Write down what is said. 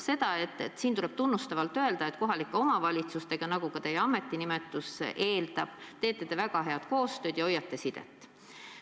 Siin tuleb tunnustavalt öelda, et kohalike omavalitsustega, nagu ka teie ametinimetus eeldab, te teete väga head koostööd ja hoiate nendega sidet.